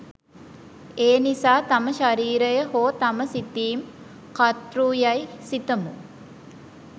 එනිසා තම ශරීරය හෝ තම සිතීම්, කර්තෘ, යයි සිතමු.